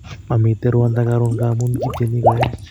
Mamiten rwando karun ngamun kityeni koeech